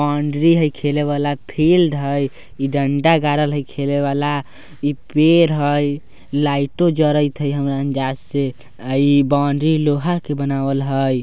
इ बाउंड्री हेय खेले वाला फिल्ड हेय इ डंडा गारल हेय खेले वाला इ पेड़ हेय लाइटो जरेत हेय हमरा अंदाज से इ बाउंड्री लोहा के बनावल हेय।